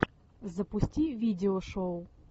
запусти видео шоу